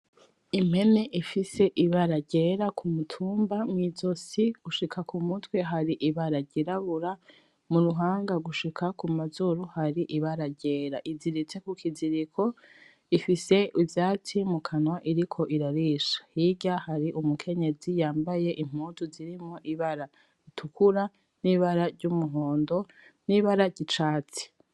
Impene ifise ibara ryera kumutumba, mw'izosi gushika kumutwe hari ibara ry'irabura , muruhanga gushika kumazuru hari ibara ryera iziritse kukiziriko , ifise ivyatsi mukanwa iriko irarisha , hirya hari umukenyezi yambaye impuzu zirimwo ibara ritukura n'ibara ry'umuhondo , n'ibara ry'icatsi .